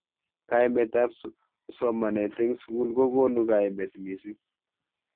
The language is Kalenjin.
Kaimet ab somanet eng sukul kokonu kaimet mising.